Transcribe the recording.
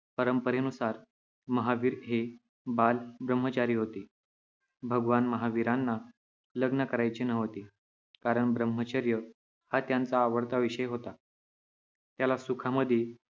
परंपरेनुसार महावीर हे बाल ब्रह्मचारी होते. भगवान महावीरांना लग्न करायचे नव्हते कारण ब्रह्मचर्य हा त्यांचा आवडता विषय होता. त्याला सुखांमध्ये